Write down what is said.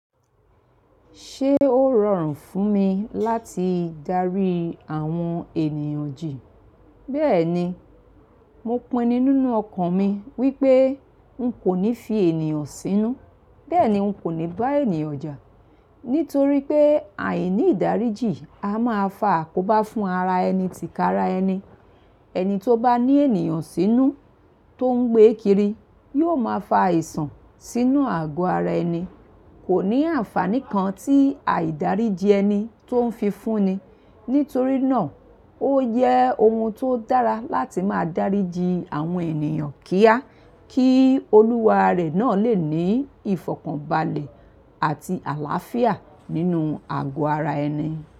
Ṣé ó rọrùn fún mi láti darí àwọn ènìyàn jì? Bẹ́ẹ̀ni, mo pinnu nínú ọkàn mi wípé n kò ní fi ènìyàn sínú. Bẹ́ẹ̀ni n kò ní bá ènìyàn jà. Nítorí pé àìní ìdáríjì a máa fa àkóbá fún ara ẹni ti ka-ara ẹni. Ẹni tó bá ní ènìyàn sínú tó ń gbé kiri yóò máa fa àìsàn sínú àgọ́ ara ẹni. Kò ní àǹfààní kan tí àìdáríjì ẹni tó ń fi fúnni. Nítorí náà ó yẹ ohun tó dára láti máa dáríjì àwọn ènìyàn kíá, kí olúwa rẹ̀ náà lè ní ìfọ̀kànbalẹ̀ àti àláàfíà nínú àgọ́ ara ẹni.